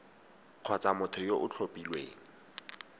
kgotsa motho yo o tlhophilweng